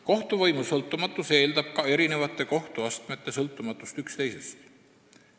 Kohtuvõimu sõltumatus eeldab ka eri kohtuastmete sõltumatust üksteisest.